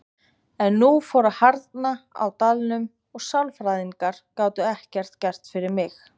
En nú fór að harðna á dalnum og sálfræðingar gátu ekkert gert fyrir mig.